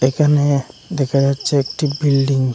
এখানে দেখা যাচ্চে একটি বিল্ডিং ।